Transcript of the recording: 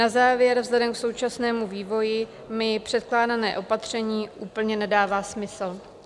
Na závěr: vzhledem k současnému vývoji mi předkládané opatření úplně nedává smysl.